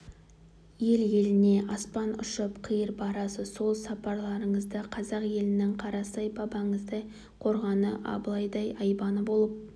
ел-еліне аспан ұшып қиыр барасыз сол сапарларыңызда қазақ елінің қарасай бабаңыздай қорғаны абылайдай айбыны болып